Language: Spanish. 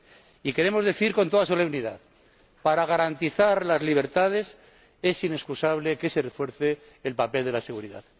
Y queremos decir con toda solemnidad para garantizar las libertades es inexcusable que se refuerce el papel de la seguridad.